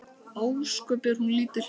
Ósköp er hún lítil.